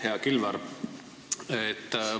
Hea Kilvar!